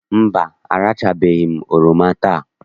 Mba, arachabeghị m oroma taa.